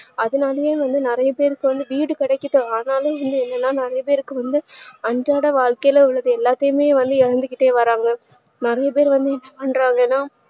அதனாலையே வந்து நிறைய பேருக்கு வந்து வீடு கிடைக்கட்டும் அதனால எல்லார்க்கும் நல்லாதா இருக்கும் ரொம்ப அன்றாட வாழ்க்கையில் எல்லாத்தயுமே இழந்துகிட்டு வராங்க நிறைய பேரு வந்து என்ன பன்றாங்கனா